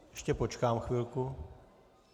Ještě počkám chvilku.